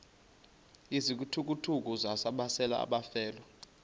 izithukuthuku besalela abafelwa